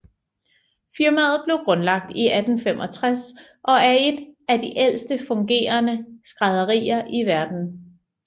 Firmaet blev grundlagt i 1865 og er et af de ældste fungerende skrædderier i verden